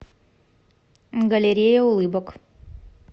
галерея улыбок